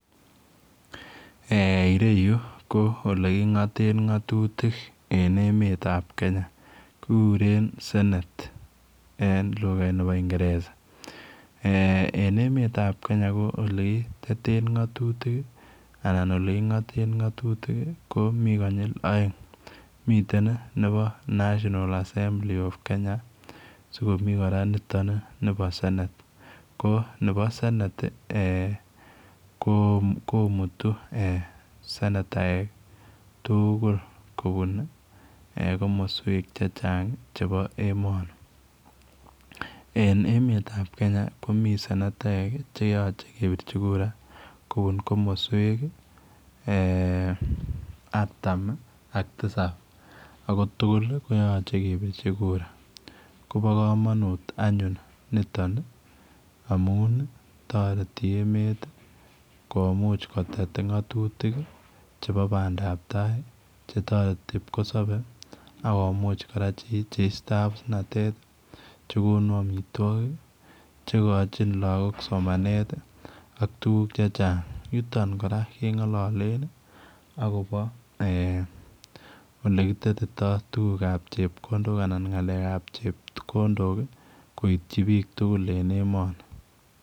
Eeh ireyuu ko ole king'ateen ng'atutiik en emeet ab Kenya kiguren senate en lugait nebo ingereza eeh emeet ab Kenya ko ole kitten ngatutiik anan ko ole kichapeen ngatutiik ko Mii konyiil aeng' miten ii the national assembly of Kenya sikomi kora nitoon ni nibo Senate ko nebo senate komutii senetaek ii tuguul kobuun ii komosweek che chaang' chebo emanii en emeet ab Kenya komii senetaek che yachei kebirchii kura kobuun komosweek ii artam ak tisaap ako tuguul ii koyachei kebirchii kura kobaa kamanut anyuun nitoon ii amuun ii taretii taretii emeet ii komuuch kotet ngatutiik chebo bandaap tai che taretii pkosabei akomuuch kora che istaa abusnatet chekonuu amitwagiik che kachiin amitwagiik, chebo somanet ii ak tuguuk che chaang' yutoon kora kengalalen agobo eeh ole kitetaii tuguuk ab chepkondook anan ngalek ab chepkondook ii koityi biik tuguul en emanii.